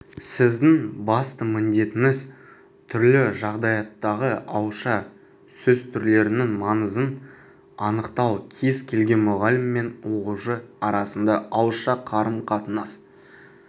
сіздің басты міндетіңіз түрлі жағдаяттағы ауызша сөз түрлерінің маңызын анықтау кез келген мұғалім мен оқушы арасында ауызша қарым-қатынас